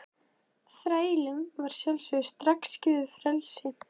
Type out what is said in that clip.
Þrælunum var að sjálfsögðu strax gefið frelsi.